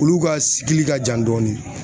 Olu ka ka jan dɔɔni.